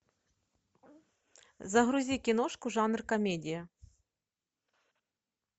загрузи киношку жанр комедия